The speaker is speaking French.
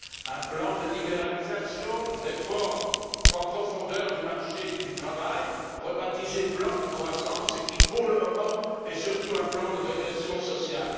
un plan de libéralisation, une réforme en profondeur du marché du travail, rebaptisé plan de croissance et qui, pour le moment, est surtout un plan de régression sociale.